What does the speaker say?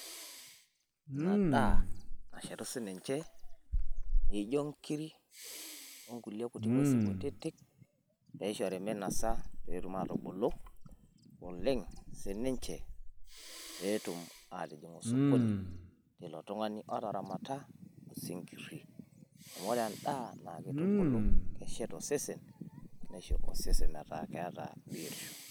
ina daaa, nashetu sininche, ijio nkiri onkulie kuti ngwesin kutiti ,naishori minosa petum atubulu oleng sininche, pee etum atijing osokoni ilo tungani otaramata osinkiri ,amu ore endaa na kitubulu neshet osesen meeta keeta biotisho.